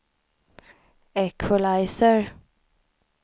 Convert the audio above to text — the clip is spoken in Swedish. equalizer